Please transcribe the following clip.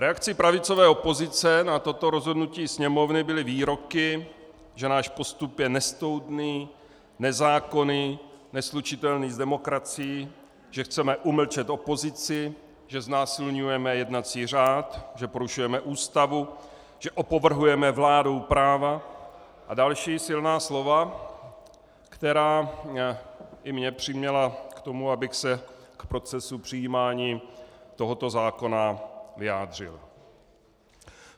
Reakcí pravicové opozice na toto rozhodnutí Sněmovny byly výroky, že náš postup je nestoudný, nezákonný, neslučitelný s demokracií, že chceme umlčet opozici, že znásilňujeme jednací řád, že porušujeme Ústavu, že opovrhujeme vládou práva, a další silná slova, která i mě přiměla k tomu, abych se k procesu přijímání tohoto zákona vyjádřil.